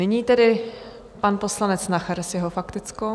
Nyní tedy pan poslanec Nacher s jeho faktickou.